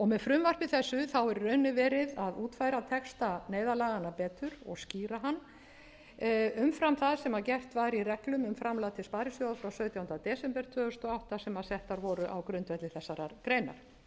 með frumvarpi þessu er í rauninni verið að útfæra texta neyðarlaganna betur og skýra hann umfram það sem gert var í reglum um framlag til sparisjóða frá sautjándu desember tvö þúsund og átta sem settar voru á grundvelli þessarar greinar